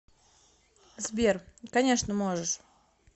сбер конечно можешь